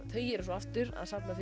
þau eru aftur að safna